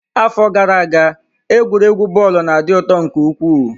Afọ gara aga egwuregwu bọọlụ na-adị ụtọ nke ukwuu.